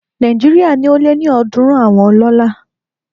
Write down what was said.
Nàìjíríà ní ó lé ní ọ̀dúrún àwọn ọlọ́lá